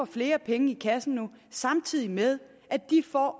flere penge i kassen samtidig med at de